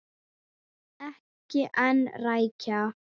Ekki ein rækja.